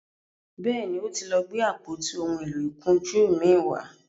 béèni o tí lọ Gbe àpótí òún èló ìkunjú mí wá.